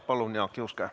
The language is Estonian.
Palun, Jaak Juske!